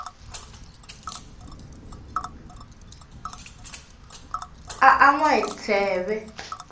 a an wa hi tsheve